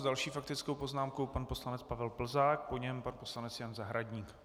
S další faktickou poznámkou pan poslanec Pavel Plzák, po něm pan poslanec Jan Zahradník.